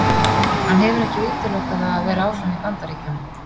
Hann hefur ekki útilokað það að vera áfram í Bandaríkjunum.